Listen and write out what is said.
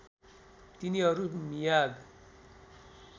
तिनीहरू मियाग